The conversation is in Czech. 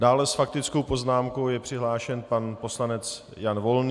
Dále s faktickou poznámkou je přihlášen pan poslanec Jan Volný.